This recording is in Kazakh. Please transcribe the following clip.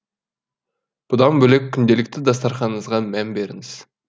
бұдан бөлек күнделікті дастарханыңызға мән беріңіз